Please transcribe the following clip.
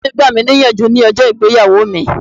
Bàbá mi gbà mí ní ìyànjú ní ọjọ́ ìgbéyàwó mi.